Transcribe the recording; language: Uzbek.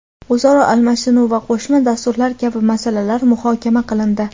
o‘zaro almashinuv va qo‘shma dasturlar kabi masalalar muhokama qilindi.